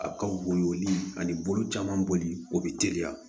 A ka bon ni ani bolo caman bolili o bɛ teliya